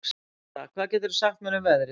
Tara, hvað geturðu sagt mér um veðrið?